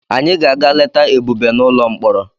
Anyị ga-aga leta Ebube n'ụlọ mkpọrọ.